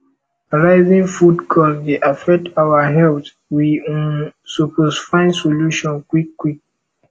rising food cost dey affect our health we um suppose find solution quick quick